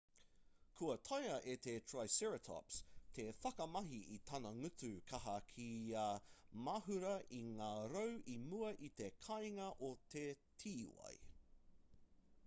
kua taea e te triceratops te whakamahi i tana ngutu kaha kia mahura i ngā rau i mua i te kāinga o te tīwai